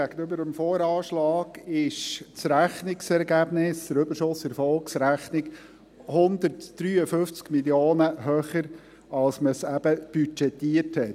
Gegenüber dem VA ist das Rechnungsergebnis, der Überschuss in der Erfolgsrechnung 153 Mio. Franken höher, als man es eben budgetierte.